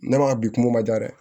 Ne ma bi kungo ma diya dɛ